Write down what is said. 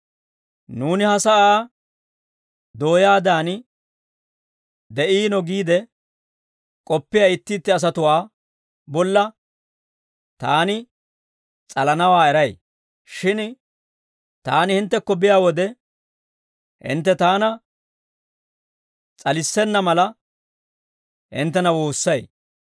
Nuuna ha sa'aa dooyaadan de'iino giide k'oppiyaa itti itti asatuwaa bolla taani s'alanawaa eray; shin taani hinttekko biyaa wode hintte taana s'alissenna mala, hinttena woossay.